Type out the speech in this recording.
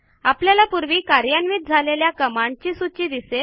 आपल्याला पूर्वी कार्यान्वित झालेल्या कमांडची सूची दिसेल